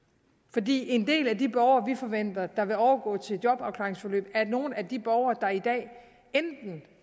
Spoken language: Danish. fordi en del af de borgere vi forventer vil overgå til jobafklaringsforløb er nogle af de borgere der i dag enten